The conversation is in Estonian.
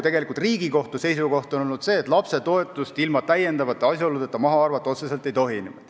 Riigikohtu seisukoht on olnud selline, et lapsetoetust ilma täiendavate asjaoludeta maha arvata otseselt ei tohi.